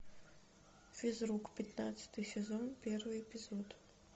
физрук пятнадцатый сезон первый эпизод